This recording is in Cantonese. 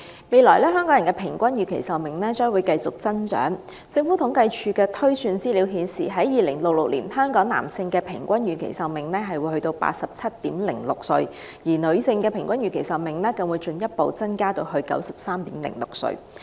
未來香港人的平均預期壽命將繼續增長，按政府統計處的推算，到了2066年，香港男性的平均預期壽命會達到 87.06 歲，而女性則會更進一步地增長至 93.06 歲。